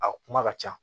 A kuma ka ca